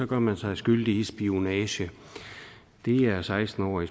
gør man sig skyldig i spionage det er seksten år i